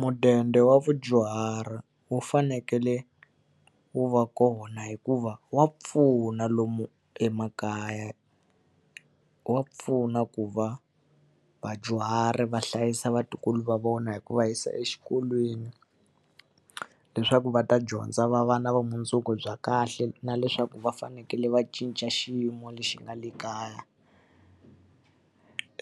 Mudende wa vadyuhari wu fanekele wu va kona hikuva wa pfuna lomu emakaya. Wa pfuna ku va vadyuhari va hlayisa vatukulu va vona hi ku va yisa exikolweni, leswaku va ta dyondza va va na vumundzuku bya kahle, na leswaku va fanekele va cinca xiyimo lexi nga le kaya.